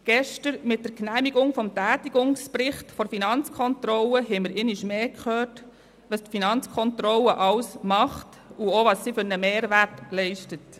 Mit der gestrigen Genehmigung des Tätigkeitsberichts der FiKo haben wir einmal mehr gehört, was die Finanzkontrolle alles leistet und welchen Mehrwert sie hat.